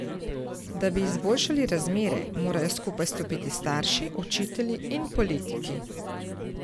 Da bi izboljšali razmere, morajo skupaj stopiti starši, učitelji in politiki.